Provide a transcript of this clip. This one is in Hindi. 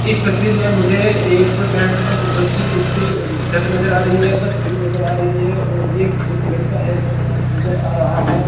इस तस्वीर में मुझे एक पेट्रोल पंप जो कि जिसके छत नजर आ रही है बस खड़ी नजर आ रही है और एक जो कि लड़का है वो खड़ा नजर आ रहा है।